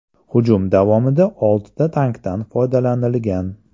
Hujum davomida oltita tankdan foydalanilgan.